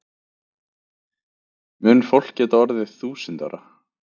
Mun fólk geta orðið þúsund ára?